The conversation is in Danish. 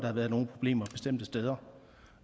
har været nogle problemer bestemte steder